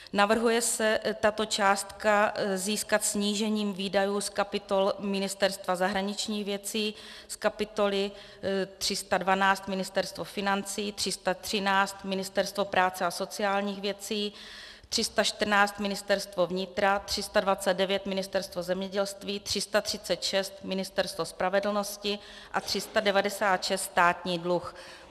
Navrhuje se tuto částku získat snížením výdajů z kapitoly Ministerstva zahraničních věcí, z kapitoly 312 Ministerstvo financí, 313 Ministerstvo práce a sociálních věcí, 314 Ministerstvo vnitra, 329 Ministerstvo zemědělství, 336 Ministerstvo spravedlnosti a 396 Státní dluh.